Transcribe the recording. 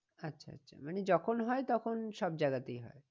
আচ্ছা আচ্ছা মানে যখন হয় তখন সব জায়গাতেই হয়।